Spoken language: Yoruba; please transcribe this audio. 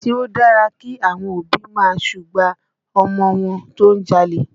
Ṣé ó dára kí àwọn òbí ó máa súgbà ọmọ wọn tó ń jalè?